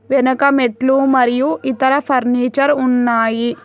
వెనక మెట్లు మరియు ఇతర ఫర్నిచర్ ఉన్నాయి.